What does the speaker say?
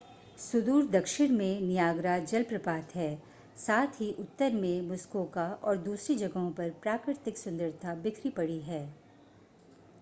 सुदूर दक्षिण में नियाग्रा जलप्रपात है साथ ही उत्तर में मुस्कोका और दूसरी जगहों पर प्राकृतिक सुन्दरता बिखरी पड़ी है